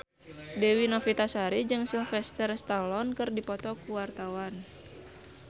Dewi Novitasari jeung Sylvester Stallone keur dipoto ku wartawan